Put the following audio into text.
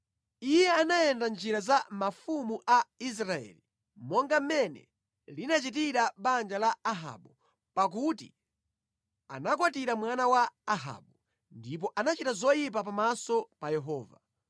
Iye anayenda mʼnjira za mafumu a Israeli, monga mmene linachitira banja la Ahabu, pakuti anakwatira mwana wa Ahabu. Ndipo anachita zoyipa pamaso pa Yehova.